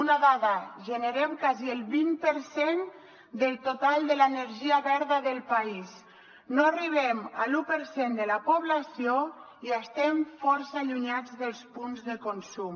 una dada generem quasi el vint per cent del total de l’energia verda del país no arribem a l’u per cent de la població i estem força allunyats dels punts de consum